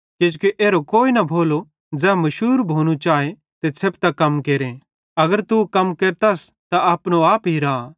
किजोकि एरो कोई न भोलो कि ज़ै मशूर भोनू चाए ते छ़ेपतां कम केरे अगर तू कम केरतस त अपनो आप हिरा